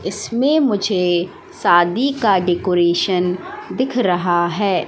इसमें मुझे शादी का डेकोरेशन दिख रहा है।